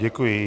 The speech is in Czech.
Děkuji.